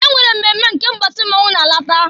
E nwere mmemme nke mbọsị mmọnwụ na-alata.